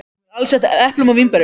Hún er alsett eplum og vínberjum.